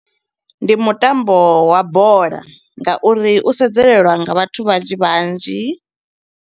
Ndi mutambo wa bola ngauri u sedzelelwa nga vhathu vhanzhi vhanzhi.